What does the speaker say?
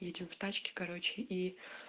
едем в тачке короче и